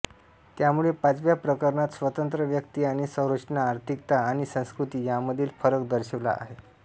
त्यामुळे पाचव्या प्रकरणात स्वतंत्र व्यक्ती आणि संरचना आर्थिकता आणि संस्कृती यांमधील फरक दर्शविला आहे